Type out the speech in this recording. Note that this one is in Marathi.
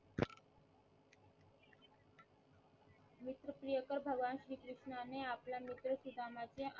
प्रियकर भगवान श्री कृष्ण ने आपला मित्र सुधामाचे